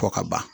Fɔ ka ban